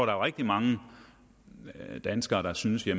er rigtig mange danskere der synes at